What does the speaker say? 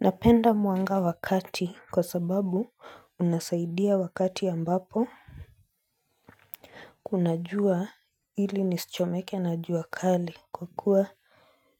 Napenda manga wa kati kwa sababu hunasaidia wakati ambapo kuna jua ili nisichomeke na jua kali kwa kuwa